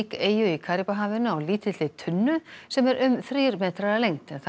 eyju í Karíbahafinu á lítilli tunnu sem er um þrír metrar að lengd en þar